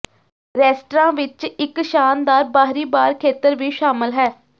restaurant ਵਿਚ ਇਕ ਸ਼ਾਨਦਾਰ ਬਾਹਰੀ ਬਾਰ ਖੇਤਰ ਵੀ ਸ਼ਾਮਲ ਹੈ